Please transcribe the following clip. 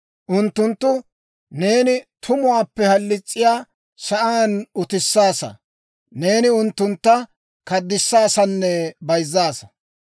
Unttuntta neeni tumuwaappe halis's'iyaa sa'aan utissaasa; neeni unttuntta kunddissaasanne bayzzaasa.